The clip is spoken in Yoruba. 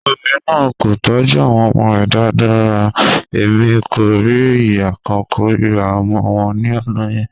Obinrin naa ko tọju awọn ọmọ rẹ daradara rara, Emi ko rii iya kan korira ọmọ wọn ni ọna yẹn.